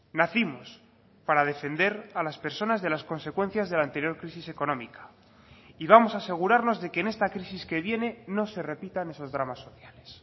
nacimos para defender a las personas de las consecuencias de la anterior crisis económica y vamos a asegurarnos de que en esta crisis que viene no se repitan esos dramas sociales